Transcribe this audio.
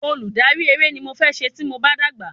Olùdarí eré ni mo fẹ́ se tí mo bá dàgbà